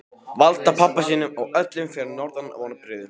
Valda pabba sínum og öllum fyrir norðan vonbrigðum.